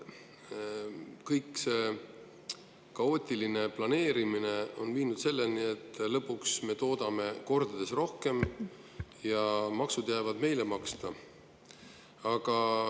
Kogu see kaootiline planeerimine on viinud selleni, et lõpuks me toodame kordades rohkem ja maksud jäävad meie maksta.